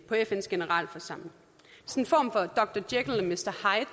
på fns generalforsamling jeg